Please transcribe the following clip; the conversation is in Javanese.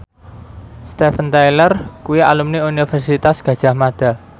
Steven Tyler kuwi alumni Universitas Gadjah Mada